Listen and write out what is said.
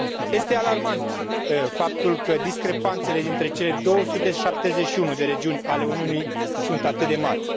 Este alarmant faptul că discrepanțele dintre cele 271 de regiuni ale Uniunii sunt atât de mari.